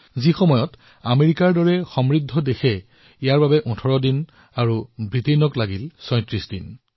আনহাতে আমেৰিকাৰ দৰে সমৃদ্ধ দেশত এই কামত সময়ৰ প্ৰয়োজন হৈছে ১৮ দিনৰ আৰু ব্ৰিটেইনৰ ৩৬ দিনৰ